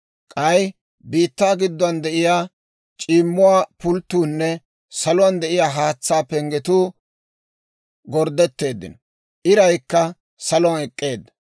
K'ay biittaa gidduwaan de'iyaa c'iimmuwaa pulttuunne saluwaan de'iyaa haatsaa penggetuu gorddetteeddino; iraykka saluwaan ek'k'eedda.